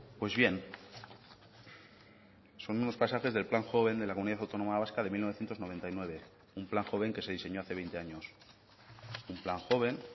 pues bien son unos pasajes del plan joven de la comunidad autónoma vasca de mil novecientos noventa y nueve un plan joven que se diseñó hace veinte años un plan joven